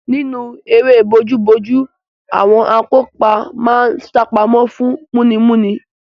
Nínú eré bojúbojú, àwọn akópa máa ń sápamọ́ fún múnimúni.